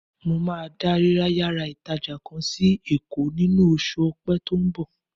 Mo máa da ríra yàrá ìtàjà kan sí Èkó nínú oṣù Ọpẹ́ tí ó ń bọ̀.